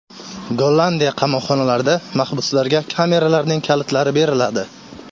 Gollandiya qamoqxonalarida mahbuslarga kameralarning kalitlari beriladi.